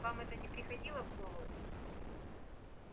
вам это не приходило в голову